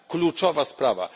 Kluczowa sprawa.